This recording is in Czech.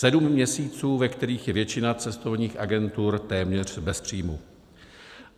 Sedm měsíců, ve kterých je většina cestovních agentur téměř bez příjmu.